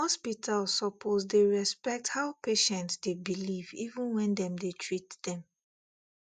hospital suppose dey respect how patient dey believe even when dem dey treat dem